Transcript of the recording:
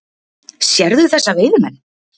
Sérðu þessa veiðimenn?